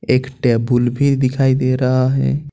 एक टेबुल भी दिखाई दे रहा है।